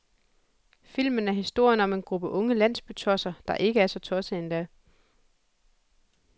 Filmen er historien om en gruppe unge landsbytosser, der ikke er så tossede endda.